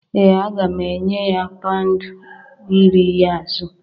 Ee a ga m enye ya pound iri ya azụ